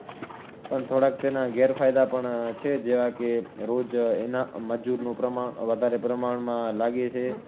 પણ થોડાક તેના ગેરફાયદા પણ છે જેવા કે રોજ એના મજૂરનું પ્રમાણ વધારે પ્રમાણમાં લાગે છે,